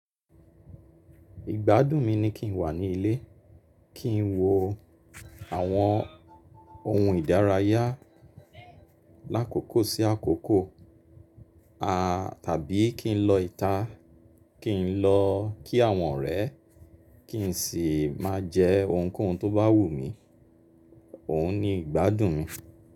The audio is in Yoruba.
Ìgbádùn mi ni kí n wà ní ilé, kí n wo àwọn ohun ìdárayá lákòókò sí àkókò, tàbí kí n lọ ìta, kí n lọ kí àwọn ọ̀rẹ́, kí n sì má a jẹ ohunkóhun tó bá wù mí. Óun nìgbádùn mi.